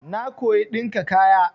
Na koyi ɗinka kaya.